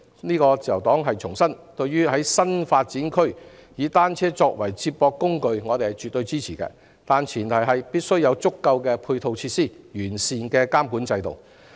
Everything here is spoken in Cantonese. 自由黨重申，我們絕對支持在新發展區以單車作為接駁交通工具，但前提是必須有足夠的配套設施和完善的監管制度。